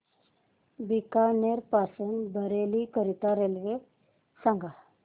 बीकानेर पासून बरेली करीता रेल्वे सांगा